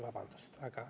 Vabandust!